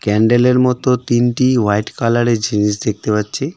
ক্যান্ডেলের মতো তিনটি হোয়াইট কালারের জিনিস দেখতে পাচ্ছি।